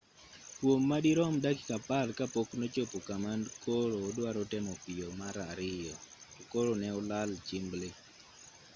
kwom madirom dakika apar ka pok nochopo kama koro oduaro temo piyo mar ariyo to koro ne olal chimbli